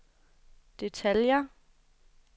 detaljer